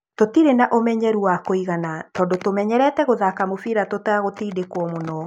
Tũtirĩ na ũmenyeru wa kũigana tondũ tũmenyerete gũthaka mũbira tũtagũtindĩkwo mũno